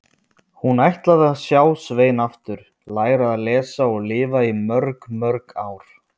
Hún ætlaði að sjá Svein aftur, læra að lesa og lifa í mörg, mörg ár.